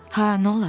Hə, nə olar?